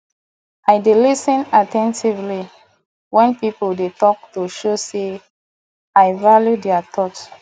i dey lis ten actively wen people dey talk to show sey i value dia thoughts